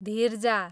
धिर्जा